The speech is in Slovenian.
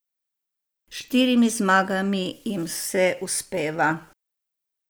S štirimi zmagami jim vse uspeva.